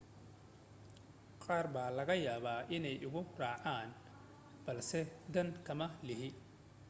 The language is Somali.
qaar baa laga yaabaa inaanay igu raacin balse dan kama lihi